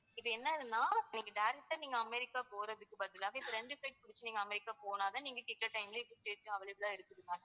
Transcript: இது என்னதுன்னா நீங்க direct ஆ நீங்க அமெரிக்க போறதுக்கு பதிலா இப்போ ரெண்டு flight பிடிச்சு அமெரிக்க போனதா நீங்க கேக்குற time ல seat available லா இருக்குது ma'am